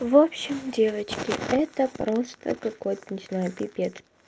в общем девочки это просто какой-то не знаю пипец